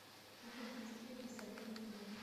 афина хочу средний соленый к кино